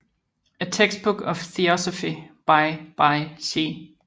A textbook of theosophy by by C